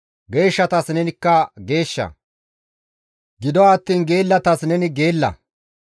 Geeshshataskka neni geeshsha; gido attiin geellatas neni geella.